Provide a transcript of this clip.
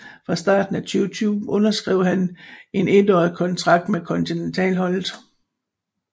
Fra starten af 2020 underskrev han en étårig kontrakt med kontineltalholdet